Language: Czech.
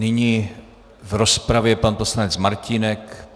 Nyní v rozpravě pan poslanec Martínek.